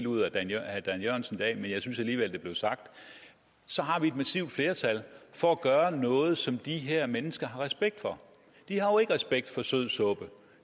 ud af herre dan jørgensen i dag men jeg synes alligevel det blev sagt så har vi et massivt flertal for at gøre noget som de her mennesker har respekt for de har jo ikke respekt for sødsuppe